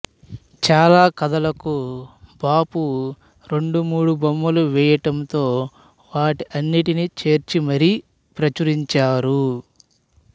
చాలా కథలకు బాపు రెండు మూడు బొమ్మలు వేయడంతో వాటన్నిటినీ చేర్చి మరీ ప్రచురించారు